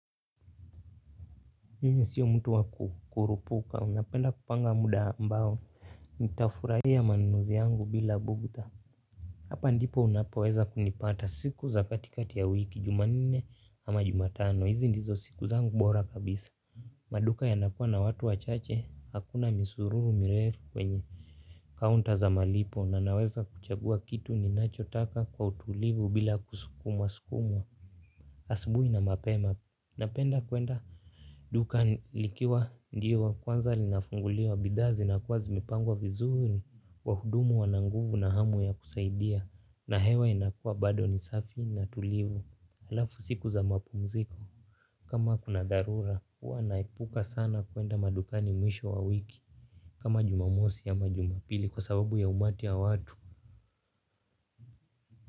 Yeye sio mtu waku kurupuka napenda kupanga muda ambao nitafurahia manunuzi yangu bila bugdha. Hapa ndipo unapoweza kunipata siku za katikati ya wiki jumanne ama jumatano hizi ndizo siku zangu bora kabisa. Maduka yanakua na watu wachache hakuna misururu mirefu kwenye counter za malipo na naweza kuchagua kitu ninachotaka kwa utulivu bila kusukumwa sukumwa. Asubuhi na mapema napenda kuenda dukani likiwa ndio wa kwanza linafunguliwa bidhaa zinakuwa zimepangwa vizuri wahudumu wana nguvu na hamu ya kusaidia na hewa inakua bado ni safi na tulivu alafu siku za mapumziko. Kama kuna dharura huwa naepuka sana kuenda madukani mwisho wa wiki kama jumamosi ama jumapili kwa sababu ya umati ya watu.